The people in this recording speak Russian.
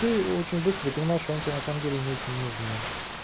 ты очень быстро и понимаю что они тебе на самом деле не очень нужны